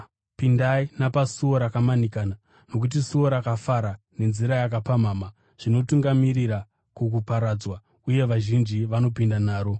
“Pindai napasuo rakamanikana nokuti suo rakafara nenzira yakapamhama zvinotungamirira kukuparadzwa, uye vazhinji vanopinda naro.